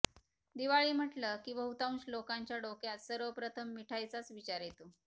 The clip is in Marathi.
दिवाळी म्हटलं की बहुतांश लोकांच्या डोक्यात सर्वप्रथम मिठाईचाच विचार येतो